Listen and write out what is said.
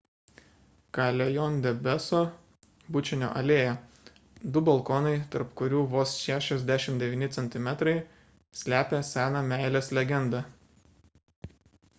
callejon del beso bučinio alėja. du balkonai tarp kurių vos 69 centimetrai slepia seną meilės legendą